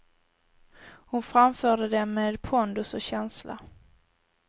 Hon framförde dem med pondus och känsla.